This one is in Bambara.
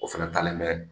O fɛnɛ talen mɛ